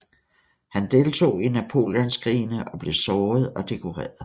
Han deltog i Napoleonskrigene og blev såret og dekoreret